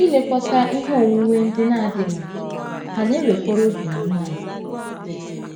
Ilekọta ihe onwunwe ndị na - adịghị mkpa hà na - ewekọrọ oge na ume anyị